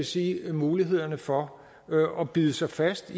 sige mulighed for at bide sig fast